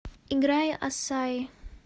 играй ассаи